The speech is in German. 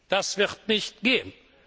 Das wird nicht gehen!